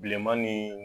Bilenman ni